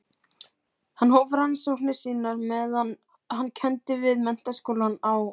Hann hóf rannsóknir sínar meðan hann kenndi við Menntaskólann á